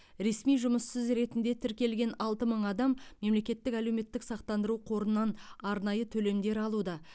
ресми жұмыссыз ретінде тіркелген алты мың адам мемлекеттік әлеуметтік сақтандыру қорынан арнайы төлемдер алуда